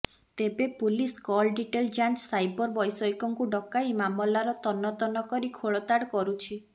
ତେବେ police call detail ଯାଞ୍ଚ cyber ବୈଷୟିକଙ୍କୁ ଡକାଇ ମାମଲାର ତନ୍ନ ତନ୍ନ କରି ଖୋଳତାଡ଼ କରୁଛି